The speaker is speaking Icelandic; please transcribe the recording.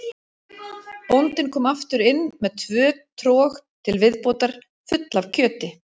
Bóndinn kom aftur inn með tvö trog til viðbótar full af kjöti.